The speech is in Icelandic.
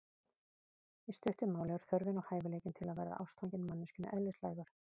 Í stuttu máli er þörfin og hæfileikinn til að verða ástfanginn manneskjunni eðlislægur.